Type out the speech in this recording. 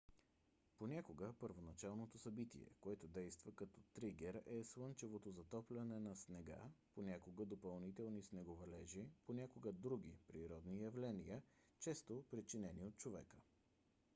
понякога първоначалното събитие което действа като тригер е слънчевото затопляне на снега понякога допълнителни снеговалежи понякога други природни явления често причинени от човека